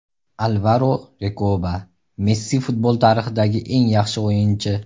Alvaro Rekoba: Messi futbol tarixidagi eng yaxshi o‘yinchi.